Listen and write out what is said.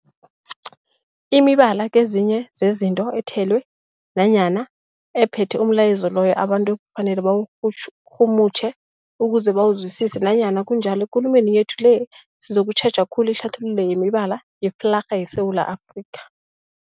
Imibala ngezinye zezinto ethelwe nanyana ephethe umlayezo loyo abantu ekufanele bawurhumutjhe ukuze bawuzwisise. Nanyana kunjalo, ekulumeni yethu le sizokutjheja khulu ihlathululo yemibala yeflarha yeSewula Afrika.